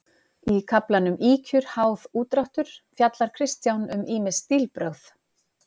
Í kaflanum Ýkjur, háð, úrdráttur fjallar Kristján um ýmis stílbrögð.